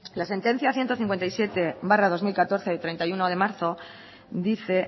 la sentencia ciento cincuenta y siete barra dos mil catorce de treinta y uno de marzo dice